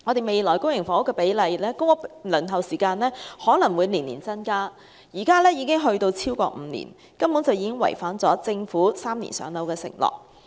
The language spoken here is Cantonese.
未來公屋輪候的時間可能會逐年增加，現時已經超過5年，已經違反了政府3年"上樓"的承諾。